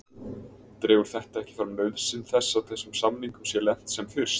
Dregur þetta ekki fram nauðsyn þess að þessum samningum sé lent sem fyrst?